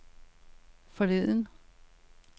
forleden